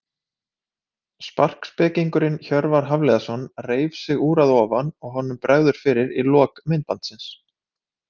Sparkspekingurinn Hjörvar Hafliðason reif sig úr að ofan og honum bregður fyrir í lok myndbandsins.